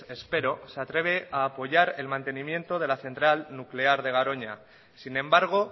espero se atreve a apoyar el mantenimiento de la central nuclear de garoña sin embargo